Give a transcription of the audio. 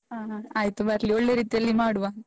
ಹ ಹ, ಆಯ್ತು ಬರ್ಲಿ, ಒಳ್ಳೇ ರೀತಿಯಲ್ಲಿ ಮಾಡುವ.